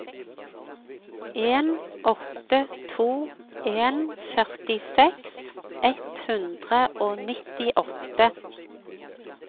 en åtte to en førtiseks ett hundre og nittiåtte